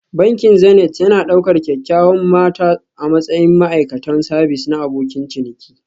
Bankin Zenith yana ɗaukar kyawawan mata a matsayin ma'aikatan sabis na abokin ciniki